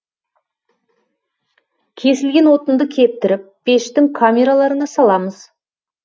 кесілген отынды кептіріп пештің камераларына саламыз